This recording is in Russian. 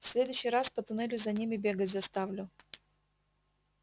в следующий раз по туннелю за ними бегать заставлю